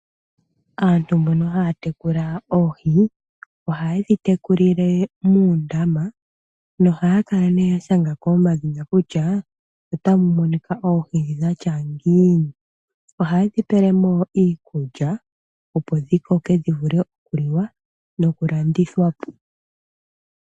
Aaantu mbono haya tekula oohi, ohaye dhi tekulile muundama nohaya kala ne ya shanga ko omadhina kutya otamu monika oohi dhi dha tya ngiini. Ohaye dhi pele mo iikulya, opo dhi koke dhi vule okuliwa nokulandithwa po.